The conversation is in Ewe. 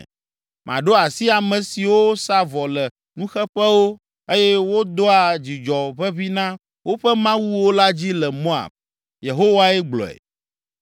Maɖo asi ame siwo sa vɔ le nuxeƒewo eye wodoa dzudzɔ ʋeʋĩ na woƒe mawuwo la dzi le Moab.” Yehowae gblɔe.